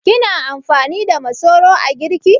Kina amfani da masoro a girki?